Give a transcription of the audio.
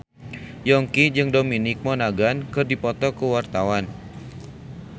Yongki jeung Dominic Monaghan keur dipoto ku wartawan